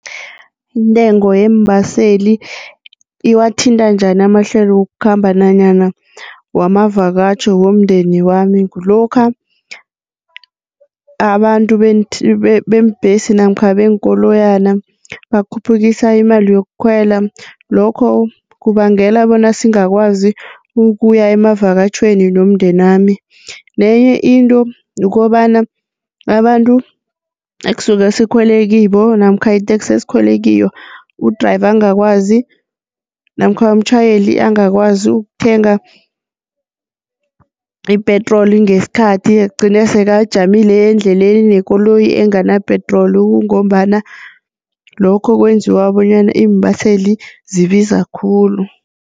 Intengo yeembaseli iwathinta njani amahlelo wokukhamba nanyana wamavakatjho womndeni wami kulokha abantu beembhesi namkha beenkoloyana bakhuphukise imali yokukhwela lokho kubangela bona singakwazi ukuya emavakatjhweni nomndenami nenye into kukobana, abantu ekusuke sikhwele kibo namkha iteksi esikhwele kiyo u-driver angakwazi namkha umtjhayeli angakwazi ukuthenga ipetroli ngesikhathi, egcine sekajamile endleleni nekoloyi engana-petrol kungombana lokho kwenziwa bonyana iimbaseli zibiza khulu.